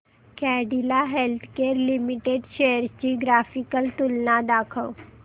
Cadila healthcare limited shares ची graphical तुलना दाखव